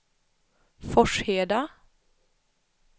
Forsheda